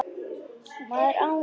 Maður án pela